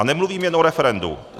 A nemluvím jen o referendu.